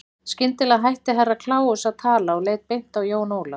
Skyndilega hætti Herra Kláus að tala og leit beint á Jón Ólaf.